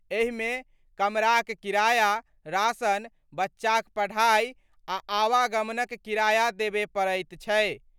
एहि मे कमराक किराया, राशन, बच्चाक पढ़ाई, आ आवागमनक किराया देबय पड़ैत छै।